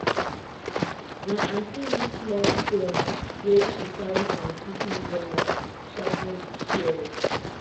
my aunty use small stone wey she carry from kitchen drawer sharpen di shears.